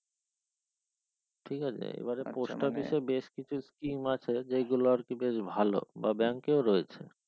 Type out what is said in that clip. ঠিকআছে এবারে post office এ বেশ কিছু scheme আছে যেগুলো আরকি বেশ ভালো বা bank এ রয়েছে